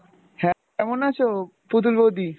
হ্যাঁ কেমন আছো পুতুল বৌদি?